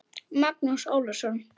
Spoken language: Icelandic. Magnús Ólason.